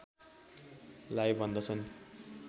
लाई भन्दछन्